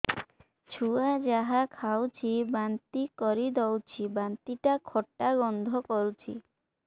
ଛୁଆ ଯାହା ଖାଉଛି ବାନ୍ତି କରିଦଉଛି ବାନ୍ତି ଟା ଖଟା ଗନ୍ଧ କରୁଛି